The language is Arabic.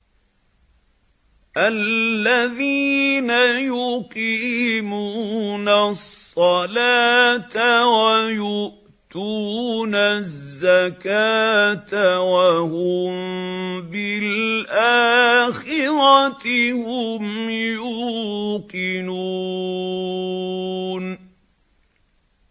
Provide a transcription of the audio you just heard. الَّذِينَ يُقِيمُونَ الصَّلَاةَ وَيُؤْتُونَ الزَّكَاةَ وَهُم بِالْآخِرَةِ هُمْ يُوقِنُونَ